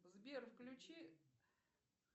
сбер включи